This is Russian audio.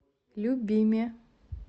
любиме